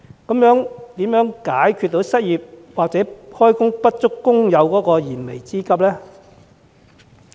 這樣怎能解決失業或就業不足工友的燃眉之急呢？